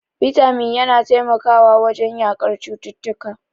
Bitamin yana taimakawa wajen yaƙar cututtuka.